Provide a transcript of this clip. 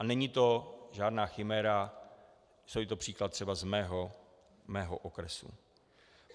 A není to žádná chiméra, je to příklad třeba z mého okresu.